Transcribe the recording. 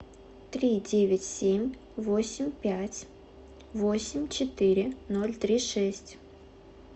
три девять семь восемь пять восемь четыре ноль три шесть